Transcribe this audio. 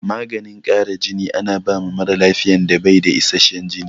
Maganin ƙara jini ana bawa mara lafiyan da bai da isashen jini